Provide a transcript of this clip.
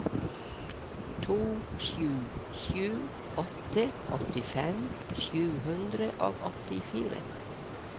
to sju sju åtte åttifem sju hundre og åttifire